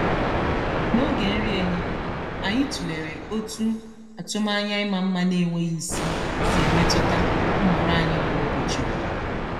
n'oge nri ehihie anyị tụlere otú atụmanya ịma mma na-enweghị isi si emetụta nhọrọ anyị kwa ụbọchị.